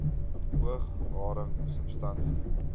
oog haring substansie